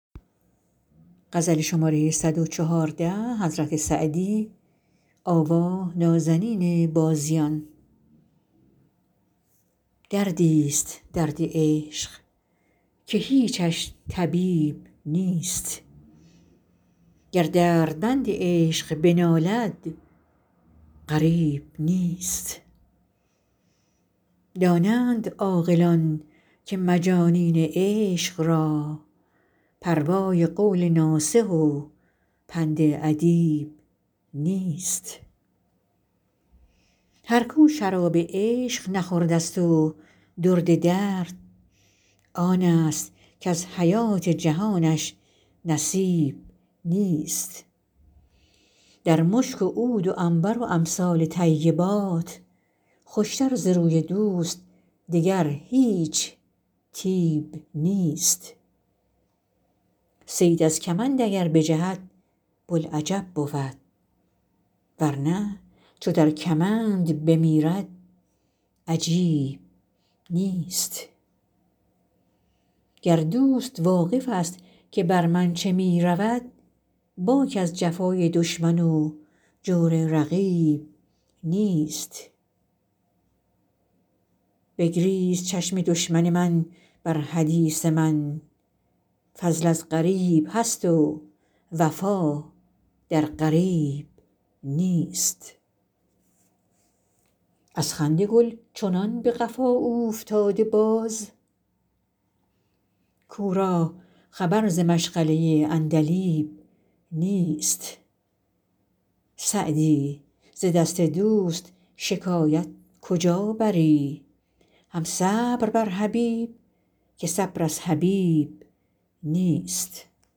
دردی ست درد عشق که هیچش طبیب نیست گر دردمند عشق بنالد غریب نیست دانند عاقلان که مجانین عشق را پروای قول ناصح و پند ادیب نیست هر کو شراب عشق نخورده ست و درد درد آن ست کز حیات جهانش نصیب نیست در مشک و عود و عنبر و امثال طیبات خوش تر ز بوی دوست دگر هیچ طیب نیست صید از کمند اگر بجهد بوالعجب بود ور نه چو در کمند بمیرد عجیب نیست گر دوست واقف ست که بر من چه می رود باک از جفای دشمن و جور رقیب نیست بگریست چشم دشمن من بر حدیث من فضل از غریب هست و وفا در قریب نیست از خنده گل چنان به قفا اوفتاده باز کو را خبر ز مشغله عندلیب نیست سعدی ز دست دوست شکایت کجا بری هم صبر بر حبیب که صبر از حبیب نیست